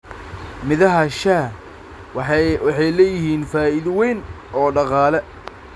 Midhaha shaaha waxay leeyihiin faa'iido weyn oo dhaqaale.